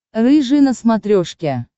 рыжий на смотрешке